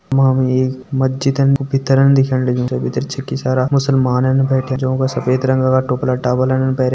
यमा में एक मजीदन कु भितरन दिखेण लग्युं जै भितर छक्की सारा मुस्लमान बैठ्याँ जौं का सा सफेद रंगा का टोपला टापलान पैरयां।